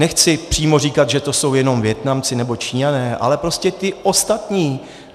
Nechci přímo říkat, že to jsou jenom Vietnamci nebo Číňané, ale prostě ti ostatní.